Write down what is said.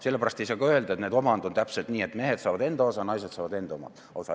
Sellepärast ei saa ka öelda, et näed, omand on täpselt nii, et mehed saavad enda osa, naised saavad enda osa.